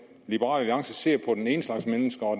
liberal alliance ser på den ene slags mennesker og